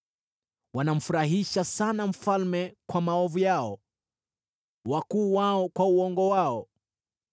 “Wanamfurahisha sana mfalme kwa maovu yao, wakuu wao kwa uongo wao.